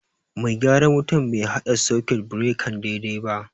Mai gyaran wutan bai haɗa sakut birekan daidai ba